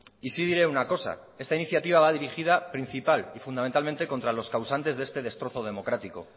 y sí diré una cosa esta iniciativa va dirigida principal y fundamentalmente contra los causantes de este destrozo democrático